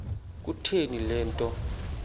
kutheni le nto